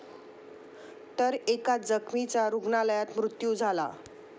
तर एका जखमीचा रुग्णालयात मृत्यू झाला.